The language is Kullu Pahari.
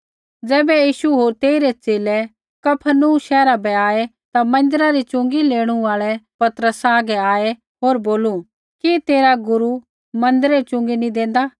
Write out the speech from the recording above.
ज़ैबै यीशु होर तेइरै च़ेले कफरनहूम शैहरा बै आऐ ता मन्दिरै री च़ुँगी लेणू आल़ै पतरसा हागै आऐ होर बोलू कि तेरा गुरू मन्दिरै री च़ुँगी नी देंदा